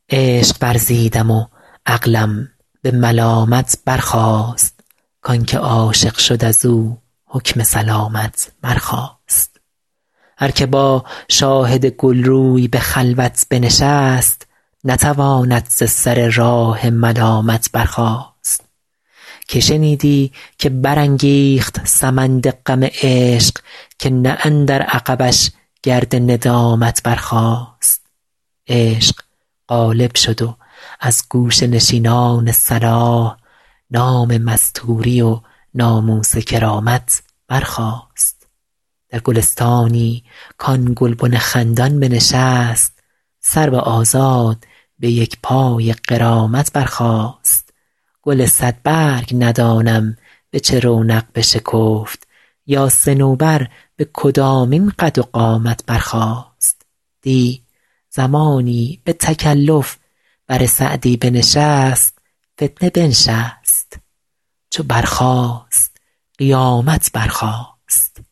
عشق ورزیدم و عقلم به ملامت برخاست کان که عاشق شد از او حکم سلامت برخاست هر که با شاهد گل روی به خلوت بنشست نتواند ز سر راه ملامت برخاست که شنیدی که برانگیخت سمند غم عشق که نه اندر عقبش گرد ندامت برخاست عشق غالب شد و از گوشه نشینان صلاح نام مستوری و ناموس کرامت برخاست در گلستانی کآن گلبن خندان بنشست سرو آزاد به یک پای غرامت برخاست گل صدبرگ ندانم به چه رونق بشکفت یا صنوبر به کدامین قد و قامت برخاست دی زمانی به تکلف بر سعدی بنشست فتنه بنشست چو برخاست قیامت برخاست